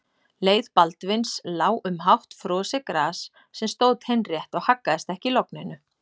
Leið Baldvins lá um hátt frosið gras sem stóð teinrétt og haggaðist ekki í logninu.